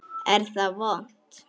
Er það vont?